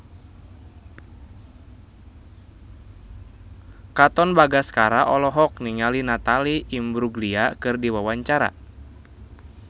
Katon Bagaskara olohok ningali Natalie Imbruglia keur diwawancara